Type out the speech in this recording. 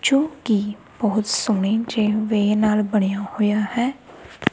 ਜੋ ਕਿ ਬਹੁਤ ਸੋਹਣੇ ਜੇਮ ਵੇ ਨਾਲ ਬਣਿਆ ਹੋਇਆ ਹੈ।